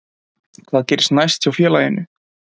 Hvað gerist næst hjá félaginu?